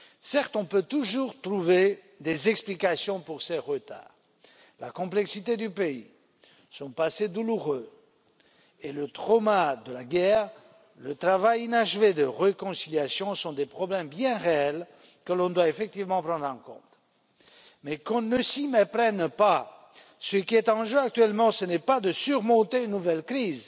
Certes, on peut toujours trouver des explications pour ces retards la complexité du pays, son passé douloureux et le traumatisme de la guerre, ainsi que le travail inachevé de réconciliation, sont des problèmes bien réels que l'on doit effectivement prendre en compte. Mais qu'on ne s'y méprenne pas, ce qui est en jeu actuellement ce n'est pas le dépassement d'une nouvelle crise,